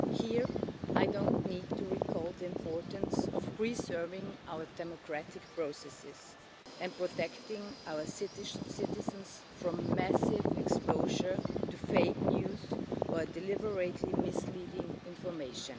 Here I don't need to recall the importance of preserving our democratic processes and protecting our citizens from massive exposure to fake news, or deliberately misleading information.